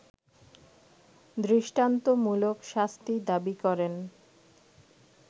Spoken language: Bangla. দৃষ্টান্তমূলক শাস্তি দাবি করেন